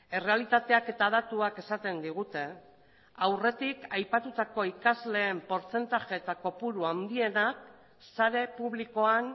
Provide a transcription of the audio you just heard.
errealitateak eta datuak esaten digute aurretik aipatutako ikasleen portzentaje eta kopuru handienak sare publikoan